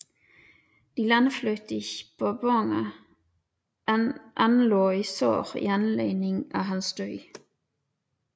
De landflygtige Bourboner anlagde sorg i anledning af hans død